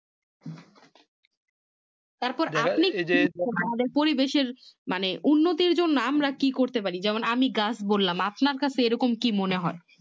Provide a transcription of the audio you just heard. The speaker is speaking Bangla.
তারপর আপনি কি তাদের পরিবেশের মানে উন্নতির জন্য মানে আমরা কি করতে পারি যেমন আমি গাছ বললাম আপনার কাছে এরকম কি মনে হয়